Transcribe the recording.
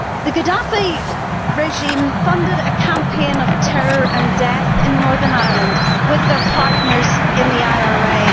The Gaddafi regime funded a campaign of terror and death in Northern Ireland with their partners in the IRA.